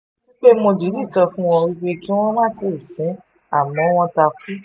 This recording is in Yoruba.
pé mo dìídì sọ fún wọn pé kí wọ́n má tì í sìn ín àmọ́ wọ́n ta kú